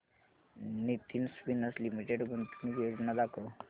Nitin spinners limited गुंतवणूक योजना दाखव